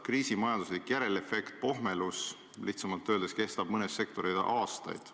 Kriisi majanduslik järelefekt, pohmelus, lihtsamalt öeldes, kestab mõnes sektoris aastaid.